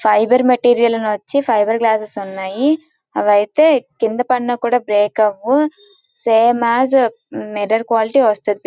Fibre material వచ్చి fibre glasses ఉన్నాయి. జాబ్ అయితే కింద పడిన కూడా బ్రేక్ అవ్వవు. సేమ్ యాస్ మిర్రర్ క్వాలిటీ వస్తది.